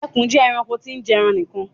Ekùn je eranko tí n jeran nìkan